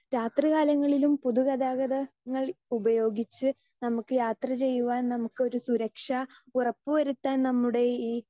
speaker 2 രാത്രികാലങ്ങളിലും പൊതുഗതാഗതങ്ങൾ ഉപയോഗിച്ച്‌ നമുക്ക് യാത്ര ചെയ്യുവാൻ നമുക്ക് ഒരു സുരക്ഷാ ഉറപ്പുവരുത്താൻ നമ്മുടെ ഈ